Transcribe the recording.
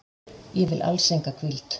Ég vil alls enga hvíld.